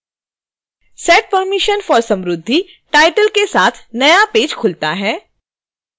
set permissions for samruddhi title के साथ नया पेज खुलता है